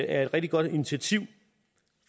er et rigtig godt initiativ